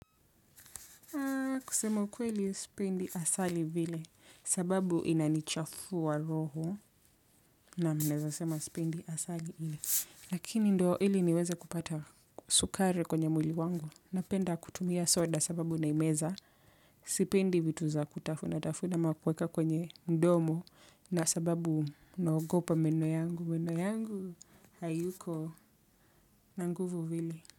Kusema ukweli sipendi asali vile, sababu inanichafua roho. Naam, naweza sema sipendi asali hiyo. Lakini ndo ili niweze kupata sukari kwenye mwili wangu. Napenda kutumia soda sababu naimeza. Sipendi vitu za kutafuna tafuna ama kuweka kwenye mdomo, na sababu naogopa meno yangu. Meno yangu hayuko na nguvu vile.